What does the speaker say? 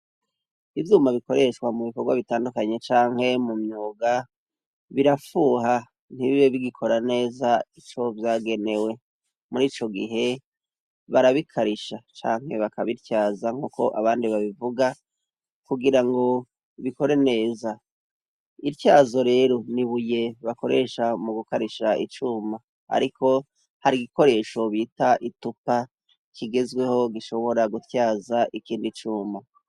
Ivyuma bikoreshwa mu bikorwa bitandukanye canke mumyuga birafuha ntibibe bigikora neza ico vyagenewe; mur'icogihe barabikarisha canke bakabityaza nk'uko abandi babivuga kugirango bikore neza. Ityazo rero n'ibuye bakoresha mu gukarisha icuma ariko hari igikoresho bita itupa kigezweho gishobora gutyaza ikindu icuma.